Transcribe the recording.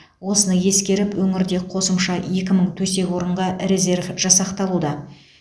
осыны ескеріп өңірде қосымша екі мың төсек орынға резерв жасақталуда